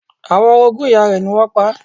Àwọn orogún ìyá rẹ̀ ni wọ́n pa á.